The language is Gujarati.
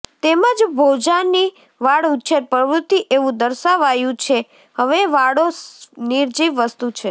તેમજ ભોજાની વાડ ઉછેર પ્રવૃત્તિ એવું દર્શાવાયંુ છે હવે વાડો નિર્જીવ વસ્તુ છે